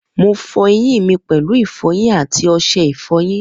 Mo fọ eyín mi pèlú ìfọyín àti ọṣẹ ìfọyín